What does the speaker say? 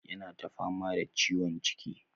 Yana ta fama da ciwon ciki.